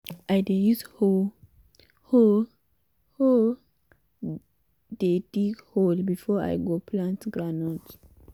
i dey use hoe um hoe dey dig hole before i go plant groundnut.